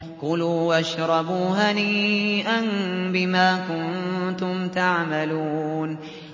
كُلُوا وَاشْرَبُوا هَنِيئًا بِمَا كُنتُمْ تَعْمَلُونَ